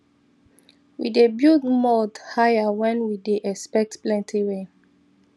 we dey build mound higher when we dey expect plenty rain